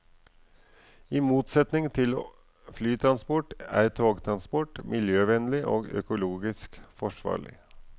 I motsetning til flytransport er togtransport miljøvennlig og økologisk forsvarlig.